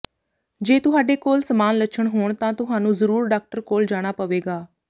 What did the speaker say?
ਜੇ ਤੁਹਾਡੇ ਕੋਲ ਸਮਾਨ ਲੱਛਣ ਹੋਣ ਤਾਂ ਤੁਹਾਨੂੰ ਜ਼ਰੂਰ ਡਾਕਟਰ ਕੋਲ ਜਾਣਾ ਪਵੇਗਾ